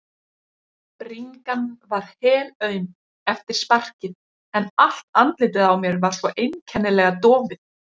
Bringan var helaum eftir sparkið en allt andlitið á mér var svo einkennilega dofið.